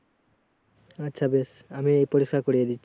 আচ্ছা বেশ আমি পরিস্কার করিয়ে দিচ্ছি